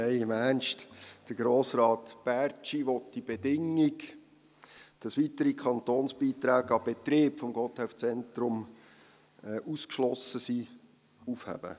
Nein, im Ernst: Grossrat Bärtschi will diese Bedingung, wonach weitere Kantonsbeiträge an den Betrieb des Gotthelf-Zentrums ausgeschlossen sind, aufheben.